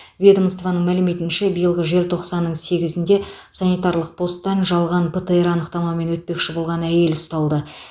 ведомствоның мәліметінше биылғы желтоқсанның сегізінде санитарлық постан жалған птр анықтамамен өтпекші болған әйел ұсталды